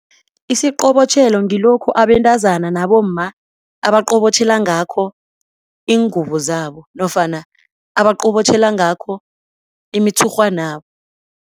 Isiqobotjhelo ngilokhu abentazana nabomma abaqobotjhela ngakho ingubo zabo nofana abaqobotjhela ngakho imitshurhwanabo.